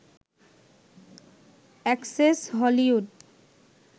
access Hollywood